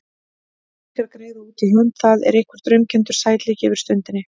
Peningar, greiða út í hönd, það er einhver draumkenndur sætleiki yfir stundinni.